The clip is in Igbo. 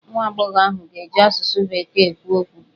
Nwa agbọghọ ahụ ga-eji asụsụ bekee ekwu okwu.